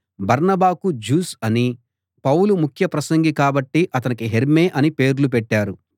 బర్నబాకు జూస్ అనీ పౌలు ముఖ్య ప్రసంగి కాబట్టి అతనికి హెర్మే అనీ పేర్లు పెట్టారు